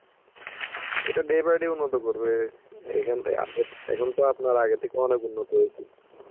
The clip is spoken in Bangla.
এটা day by day উন্নত করবে. এইখান থে~ এখন তো আপনার আগে থেকে অনেক উন্নত হয়েছে.